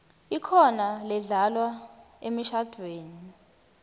ikhona ledlalwa emishadvweni